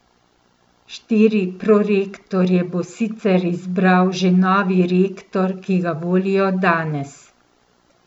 Štiri prorektorje bo sicer izbral že novi rektor, ki ga volijo danes.